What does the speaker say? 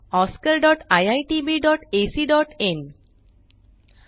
oscariitbacइन and spoken tutorialओआरजी nmeict intro